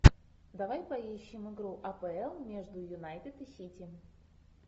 давай поищем игру апл между юнайтед и сити